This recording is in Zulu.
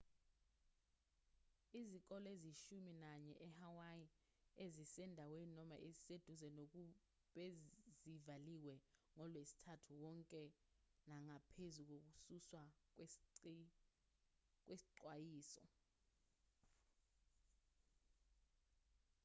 izikole eziyishumi nanye ehawaii ezisendaweni noma eziseduze nogu bezivaliwe ngolwesithathu wonke nangaphezu kokususwa kwesixwayiso